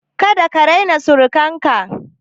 Kada ka raina surukan ka!